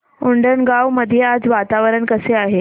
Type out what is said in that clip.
उंडणगांव मध्ये आज वातावरण कसे आहे